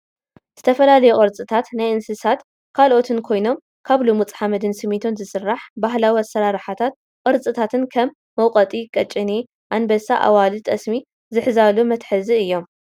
ዝተፈላለዩ ቅርፅታት ናይ እንስሳን ካልኦትን ኮይኖም ካብ ልሙፅ ሓመድን ስሚንቶን ዝስራሕ ባህላዊ ኣሰራርሓ ቅርፅታትከም መውቀጢ፣ ቀጭኔ፣ ኣንበሳን ኣዋልድ ጠስሚ ዝሕዛሉ መትሓዚ እዮም ።